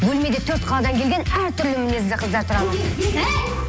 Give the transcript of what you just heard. бөлмеде төрт қаладан келген әр түрлі мінезді қыздар тұрамыз әй